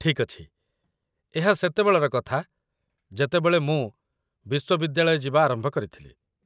ଠିକ୍ ଅଛି, ଏହା ସେତେବେଳର କଥା ଯେତେବେଳେ ମୁଁ ବିଶ୍ୱବିଦ୍ୟାଳୟ ଯିବା ଆରମ୍ଭ କରିଥିଲି